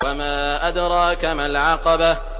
وَمَا أَدْرَاكَ مَا الْعَقَبَةُ